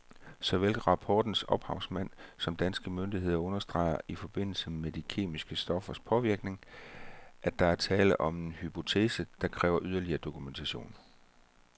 Såvel rapportens ophavsmænd samt danske myndigheder understreger i forbindelse med de kemiske stoffers påvirkning, at der er tale om en hypotese, der kræver yderligere dokumentation.